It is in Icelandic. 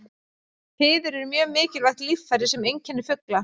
Fiður er mjög mikilvægt líffæri sem einkennir fugla.